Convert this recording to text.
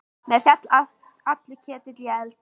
Mér féll allur ketill í eld.